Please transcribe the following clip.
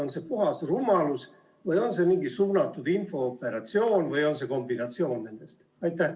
On see puhas rumalus või on see mingi suunatud infooperatsioon või on see nende kombinatsioon?